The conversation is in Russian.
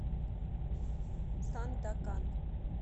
сандакан